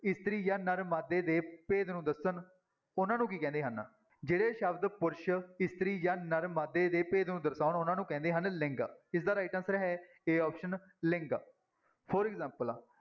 ਇਸਤਰੀ ਜਾਂ ਨਰ ਮਾਦੇ ਦੇ ਭੇਦ ਨੂੰ ਦੱਸਣ ਉਹਨਾਂ ਨੂੰ ਕੀ ਕਹਿੰਦੇ ਹਨ, ਜਿਹੜੇ ਸ਼ਬਦ ਪੁਰਸ਼, ਇਸਤਰੀ ਜਾਂ ਨਰ ਮਾਦੇ ਦੇ ਭੇਦ ਨੂੰ ਦਰਸਾਉਣ ਉਹਨਾਂ ਨੂੰ ਕਹਿੰਦੇ ਹਨ ਲਿੰਗ, ਇਸਦਾ right answer ਹੈ a option ਲਿੰਗ for example